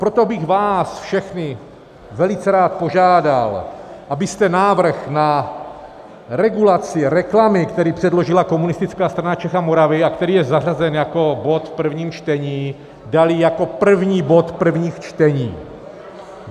Proto bych vás všechny velice rád požádal, abyste návrh na regulaci reklamy, který předložila Komunistická strana Čech a Moravy a který je zařazen jako bod v prvním čtení, dali jako první bod prvních čtení.